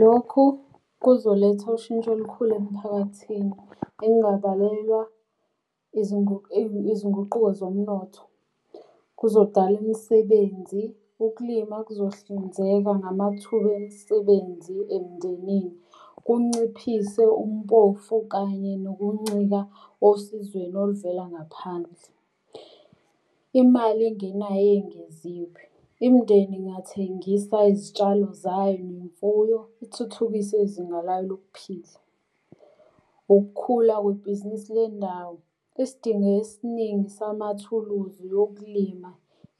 Lokhu kuzoletha ushintsho olukhulu emphakathini engabalelwa izinguquko zomnotho, kuzodala imisebenzi. Ukulima kuzohlinzeka ngamathuba emisebenzi emndenini. Kunciphise umpofu kanye nokuncika osizweni oluvela ngaphandle. Imali engenayo eyengeziwe, imindeni ingathengisa izitshalo zayo nemfuyo, ithuthukise izinga layo lokuphila. Ukukhula kwebhizinisi lendawo. Isidingo esiningi samathuluzi okulima